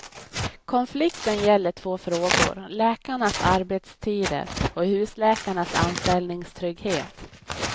Konflikten gäller två frågor, läkarnas arbetstider och husläkarnas anställningstrygghet.